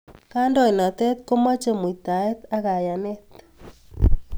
Kandoinatet komachei muitaet ak kayanet